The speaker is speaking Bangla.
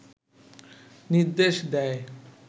নির্দেশ দেয়